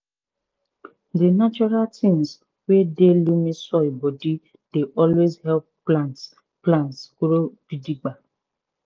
di natural tins wey dey loamy soil bodi dey always help plants plants grow gidigba.